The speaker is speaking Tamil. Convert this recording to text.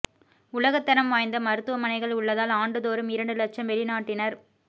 உலகத்தரம் வாய்ந்த மருத்துவ மனைகள் உள்ளதால் ஆண்டுதோறும் இரண்டு லட்சம் வெளிநாட்டினர்